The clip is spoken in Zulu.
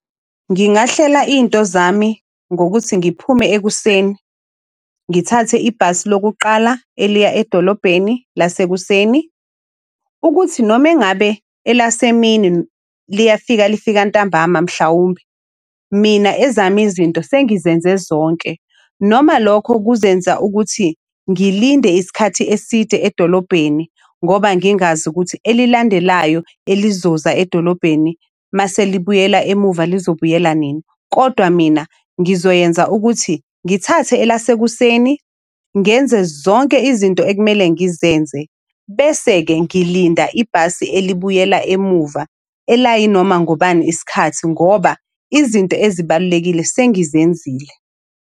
Ngingahlela iy'nto zami ngokuthi ngiphume ekuseni. Ngithathe ibhasi lokuqala eliya edolobheni lasekuseni. Ukuthi noma engabe elasemini liyafika lifika ntambama mhlawumbe, mina ezami izinto sengizenze zonke. Noma lokho kuzenza ukuthi ngilinde isikhathi eside edolobheni ngoba ngingazi ukuthi elilandelayo elizoza edolobheni mase libuyela emuva lizobuyela nini. Kodwa mina ngizoyenza ukuthi ngithathe elasekuseni ngenze zonke izinto ekumele ngizenze. Bese-ke ngilinda ibhasi elibuyela emuva. Elayi noma ngobani iskhathi ngoba izinto ezibalulekile sengizenzile.